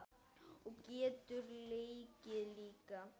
Og getur leikið líka.